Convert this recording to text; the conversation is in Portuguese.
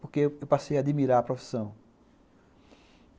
Porque eu passei a admirar a profissão.